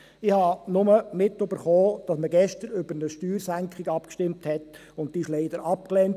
Ich habe nur mitbekommen, dass man gestern über eine Steuersenkung abgestimmt hat, und diese wurde leider abgelehnt.